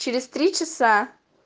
через три часа